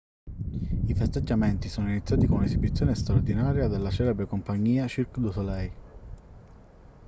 i festeggiamenti sono iniziati con un'esibizione straordinaria della celebre compagnia cirque du soleil